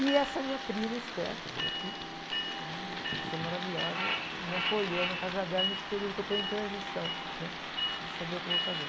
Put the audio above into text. E essa minha prima, Esther, que veio aqui, uma pessoa maravilhosa, me acolheu na casa dela nesse período que eu estou em transição, né? De saber o que eu vou fazer.